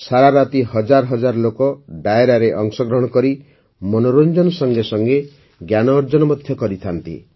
ସାରାରାତି ହଜାର ହଜାର ଲୋକ ଡାୟରାରେ ଅଂଶଗ୍ରହଣ କରି ମନୋରଂଜନ ସଙ୍ଗେ ସଙ୍ଗେ ଜ୍ଞାନ ଅର୍ଜନ କରିଥାନ୍ତି